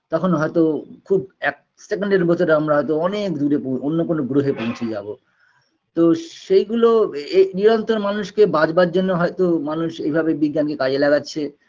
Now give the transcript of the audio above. তখন হয়তো খুব এক second -এর ভেতরে আমরা হয়তো অনেক দূরে পৌ অন্য কোনো গ্ৰহে পৌছে যাবো তো সেইগুলো এই নিরন্তর মানুষকে বাঁচবার জন্য হয়তো মানুষ এভাবে বিজ্ঞানকে কাজে লাগাচ্ছে